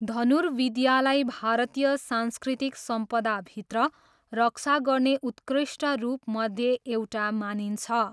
धनुर्विद्यालाई भारतीय सांस्कृतिक सम्पदाभित्र रक्षा गर्ने उत्कृष्ट रूपमध्ये एउटा मानिन्छ।